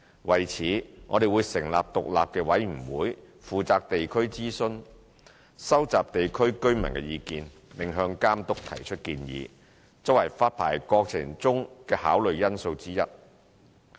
為此，我們會成立獨立委員會負責地區諮詢，收集地區居民的意見，並向監督提出建議，作為發牌過程中的考慮因素之一。